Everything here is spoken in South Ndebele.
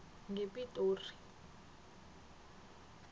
ngepitori